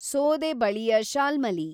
ಸೋದೆ ಬಳಿಯ ಶಾಲ್ಮಲಿ